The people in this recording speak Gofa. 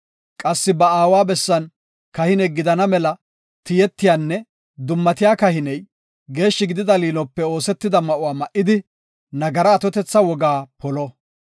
Qassi ba aawa bessan kahine gidana mela tiyetiyanne dummatiya kahiney geeshshi gidida liinope oosetida ma7uwa ma7idi, nagaraa atotetha wogaa polo.